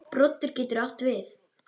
Broddur getur átt við